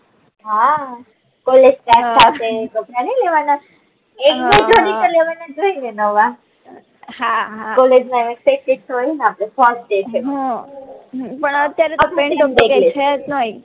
હા કોલેજ કપડા ની લેવાના હમ એક બે જોડી તો લેવાના કે ની લેવાના નવા હમ હમ કોલેજ માં આયવા છે ફસ્ટ ડે છે હમ પણ અત્યારે તો